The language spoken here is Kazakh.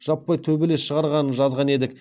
жаппай төбелес шығарғанын жазған едік